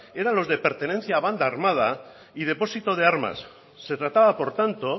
era los de pertenencia a banda armada y depósito de armas se trataba por tanto